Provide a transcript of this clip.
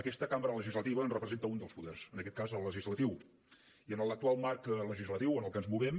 aquesta cambra legislativa en representa un dels poders en aquest cas el legislatiu i en l’actual marc legislatiu en què ens movem